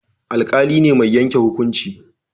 Alƙali ne mai yanke hukunci